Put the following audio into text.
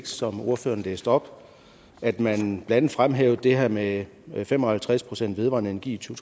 som ordføreren læste op at man blandt andet fremhævede det her med fem og halvtreds procent vedvarende energi i to